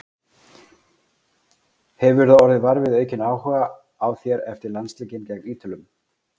Hefurðu orðið var við aukinn áhuga á þér eftir landsleikinn gegn Ítölum?